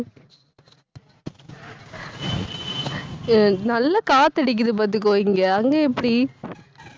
அஹ் நல்லா காத்தடிக்குது பாத்துக்கோ இங்க. அங்க எப்படி